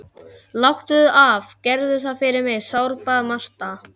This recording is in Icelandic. Þú stendur þig vel, Huxley!